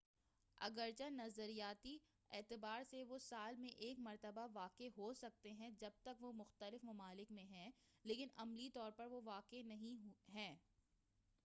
اگرچہ نظریاتی اعتبار سے وہ سال میں ایک مرتبہ واقع ہو سکتے ہیں جب تک وہ مختلف ممالک میں ہیں، لیکن عملی طور پر وہ واقع نہیں ہیں۔